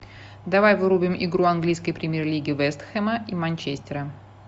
давай врубим игру английской премьер лиги вест хэма и манчестера